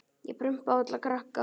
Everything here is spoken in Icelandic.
Ég prumpa á alla krakka.